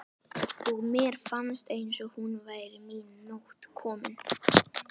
og mér fannst eins og nú væri mín nótt komin.